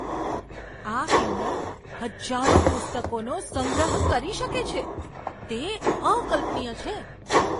આ કિન્ડલ હજારો પુસ્તકોનો સંગ્રહ કરી શકે છે. તે અકલ્પનીય છે!